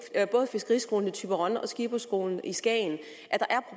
både fiskeriskolen i thyborøn og skipperskolen i skagen